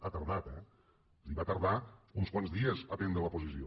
ha tardat eh va tardar uns quants dies a prendre la posició